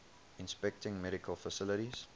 inspecting medical facilities